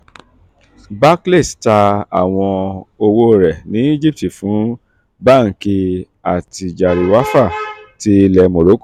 barclays ta àwọn òwò rẹ̀ ní egypt fún banki attijariwafa ti ile morocco